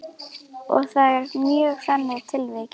Og það eru mörg þannig tilvik?